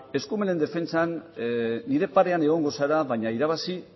eskumenen defentsan nire parean egongo zara baina irabazi